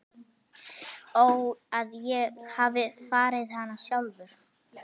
Ó að ég hefði farið hana sjálfur.